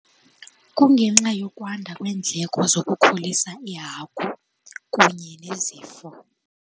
Kungenxa yokwanda kweendleko zokukhulisa iihagu kunye nezifo.